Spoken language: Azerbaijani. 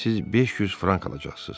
Siz 500 frank alacaqsınız.